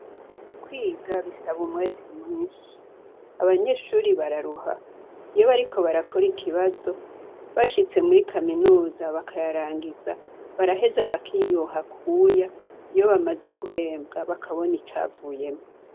Kwiga bisaba umwete mwinshi. Abanyeshure bararuha, iyo bariko barakora ikibazo, bashitse muri Kaminuza bakayarangiza baraheza bakikura akuya iyo bamaze guhembwa. Bakabona icavuyemwo.